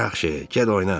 Yaxşı, get oyna.